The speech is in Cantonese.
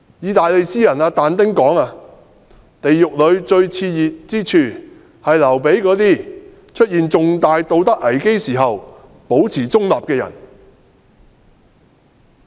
意大利詩人但丁說，地獄裏最熾熱之處，是留給那些出現重大道德危機時保持中立的人。